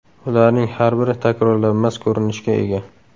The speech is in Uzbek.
Ularning har biri takrorlanmas ko‘rinishga ega.